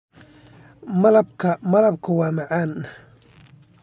Malabka malabka waa macaan.